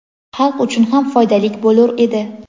xalq uchun ham foydalik bo‘lur edi.